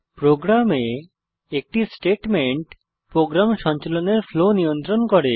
প্রোগ্রামে একটি statement program সঞ্চালনের ফ্লো নিয়ন্ত্রণ করে